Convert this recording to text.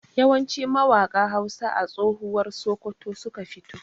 Yawanci mawaƙa Hausa a tsohuwar Sokoto suka fito.